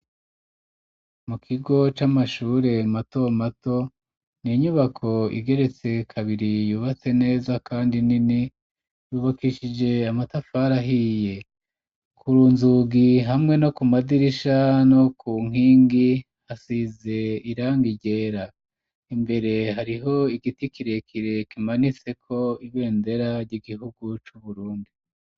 Mu kigo c'amashure mato mato, ni inyubako igeretse kabiri ,yubatse neza kandi nini ,yubakishije amatafari ahiye, kunzugi hamwe no ku madirisha, no ku nkingi hasize irangi ryera, imbere hariho igiti kirekire kimanitse ko ibendera ry'igihugu c'uburundi.